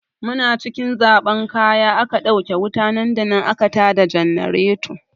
Muna cikin zaɓan kaya aka ɗauke wuta nan da nan aka ta da jannareto.